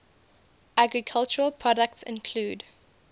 agricultural products include